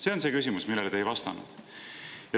See on see küsimus, millele te ei vastanud.